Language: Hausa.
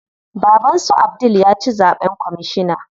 Baban su Abdul ya ci zaɓen kwamishina.